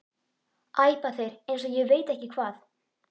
æpa þeir eins og ég veit ekki hvað.